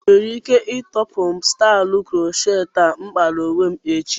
Inwere ike ịtọpụ m stailu crocheti a m kpara onwe m echi?